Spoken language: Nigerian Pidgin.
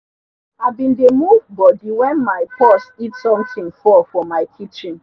i bin d move body wen mi puss hit sontin fall for mi litchen